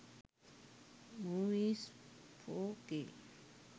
movies 4k